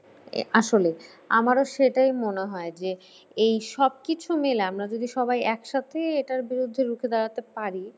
আসলেই। আমারও সেটাই মনে হয় যে এই সবকিছু মিলে আমরা যদি সবাই একসাথে এটার বিরুদ্ধে রুখে দাঁড়াতে পারি